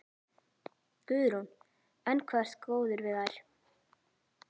Guðrún: Enn hvað þú ert góður við þær?